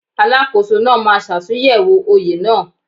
Alákóso náà máa ṣàtúnyẹ̀wò oye náà.